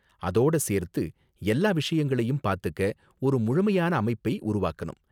அதோட சேர்த்து எல்லா விஷயங்களையும் பாத்துக்க ஒரு முழுமையான அமைப்பை உருவாக்கணும்.